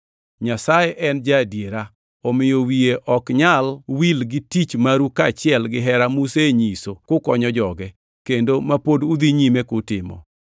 Nyasaye en ja-adiera, omiyo wiye ok nyal wil gi tich maru kaachiel gihera musenyiso kukonyo joge, kendo ma pod udhi nyime kutimo.